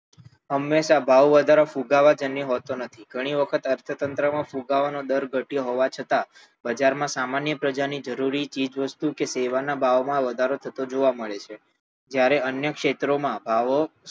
હંમેશા ભાવ વધારો ફુગાવાજન્ય હોતો નથી ઘણી વાર વખત અર્થતંત્રમાં ફુગાવાનો દર ઘટ્યો હોવા છતાં બજારમાં સામાન્ય પ્રજાની જરૂરી ચીજવસ્તુ કે સેવાના ભાવોમાં વધારો જોવા મળે છે જયારે અન્ય ક્ષેત્રોમાં ભાવો